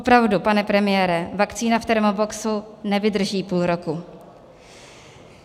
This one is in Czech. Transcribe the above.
Opravdu, pane premiére, vakcína v termoboxu nevydrží půl roku.